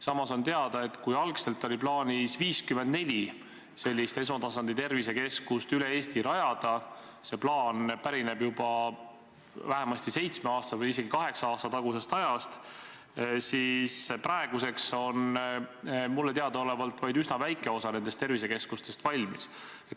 Samas on teada, et kui algul oli plaanis 54 sellist esmatasandi tervisekeskust üle Eesti rajada – see plaan pärineb juba vähemasti seitsme aasta tagusest või isegi kaheksa aasta tagusest ajast –, siis praeguseks on mulle teadaolevalt vaid üsna väike osa nendest tervisekeskustest valmis.